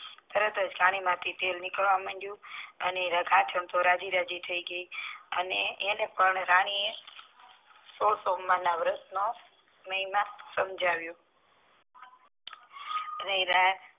તરત જ ઘાની માંથી તેલ નીકળવા માંડીયું અને તે તો રાજી રાજી થઈ ગયા અને એને પણ રાની એ સોલ સોમવાર ના વ્રત નો મહિમા સમ્જાવીયો રાની